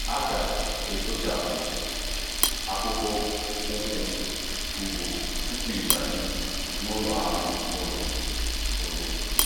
A ga-ekpochapụ akpụkpọ ụkwụ ugbo tupu ị banye n'ụlọ anụ ụlọ. ụlọ.